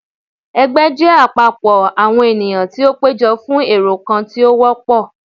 Ẹgbẹ jẹ apapọ awọn eniyan ti o pejọ fún ẹrọ kan ti o wọpọ.